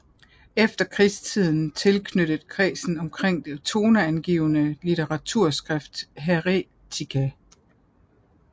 I efterkrigstiden tilknyttet kredsen omkring det toneangivende litteraturtidsskrift Heretica